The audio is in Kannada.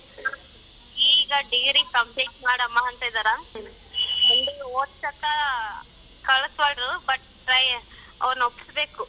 ಈಗ degree complete ಮಾಡಮ್ಮಅಂತಿದಾರ ಮುಂದೆ ಓದ್ಸಕ್ಕ ಕಳಸ್ಬೋದು but try ಅವ್ರ್ನ ಒಪ್ಪಿಸ್ಬೇಕು.